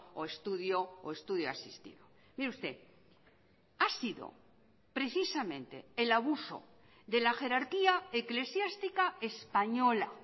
o estudio o estudio asistido mire usted ha sido precisamente el abuso de la jerarquía eclesiástica española